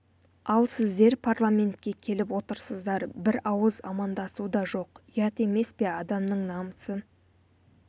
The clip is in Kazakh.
ал сіздер парламентке келіп отырсыздар бір ауыз амандасу да жоқ ұят емес пе адамның намысы